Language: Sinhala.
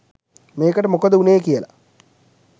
මේකට මොකද උනේ කියලා